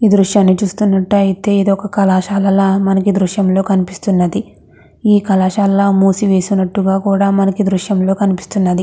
ఈ దృశ్యాన్ని చూస్తున్నట్టయితే ఇది ఒక కళాశాల మనకి ఈ దృశ్యంలో కనిపిస్తున్నది. ఈ కళాశాలల మూసి వేసినట్టుగా మనకి ఈ దృశ్యంలో కనిపిస్తున్నది.